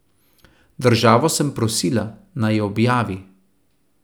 Državo sem prosila, naj jo objavi.